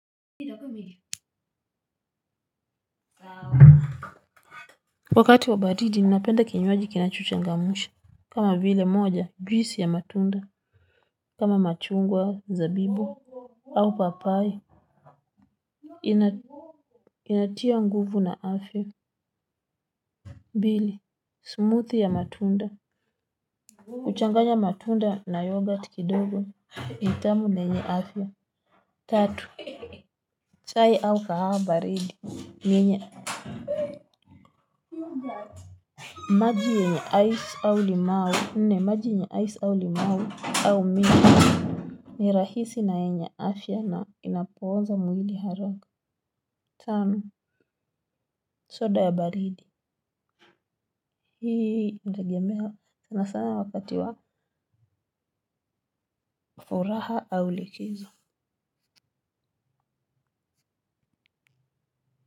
Wakati wa baridi ninapenda kinywaji kinachochangamsha kama vile moja juisi ya matunda kama machungwa, zabibu au papaye ina inatia nguvu na afya pili, smoothie matunda kuchanganya matunda na yoghurt kidogo ni tamu na yenye afya tatu, chai au kahawa baridi yenye maji yenye ice au limau nne maji yenye ice au limau au miwa. Ni rahisi na yenye afya na inapooza mwili haraka. Tano, soda ya baridi hii inategemea sana sana wakati wa furaha au likizo.